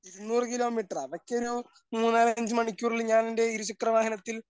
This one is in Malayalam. ഇരുനൂറ് കിലോമീറ്ററാ അതൊക്കെ ഒരു മൂന്നാലഞ്ചു മണിക്കൂറിൽ ഞാനെൻ്റെ ഇരുചക്രവാഹനത്തിൽ